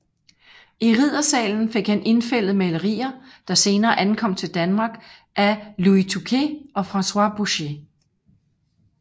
I riddersalen fik han indfældet malerier der senere ankom til Danmark af Louis Tocqué og François Boucher